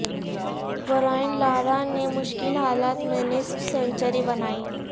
Brian Lara نے مشکل حالات میں نصف سنچری بنائی